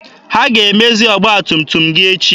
Ha ga-emezi ọgba tum tum gị echi?